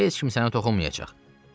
Heç kim sənə toxunmayacaq.